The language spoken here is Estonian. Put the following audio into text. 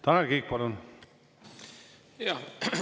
Tanel Kiik, palun!